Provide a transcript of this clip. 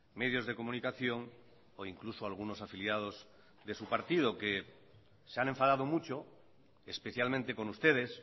medios de comunicación o incluso algunos afiliados de su partido que se han enfadado mucho especialmente con ustedes